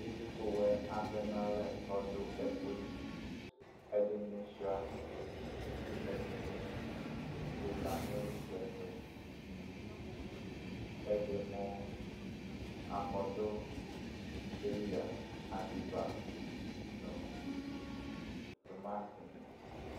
itsuku woɛ atɛ no alɛ ko ɔdo ɛku li ɛdi ni sua ɛdi ni lela no ilitsɛ to ɛdi mo akɔdo peya adeba no tomati ni